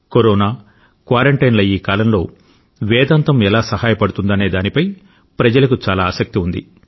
corona క్వారంటైన్ల ఈ కాలంలో వేదాంతం ఎలా సహాయపడుతుందనే దానిపై ప్రజలకు చాలా ఆసక్తి ఉంది